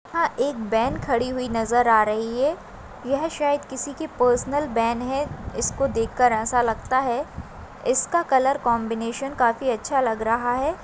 यहाँ एक वैन खड़ी हुई नज़र आ रही है यह शायद किसी की पर्सनल वैन है इसको देखकर ऐसा लगता है इसका कलर कॉम्बिनेशन काफी अच्छा लग रहा है।